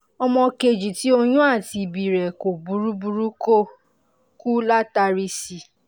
ọmọ kejì tí oyún àti ìbí rẹ̀ kò burú burú ko kú látàrí si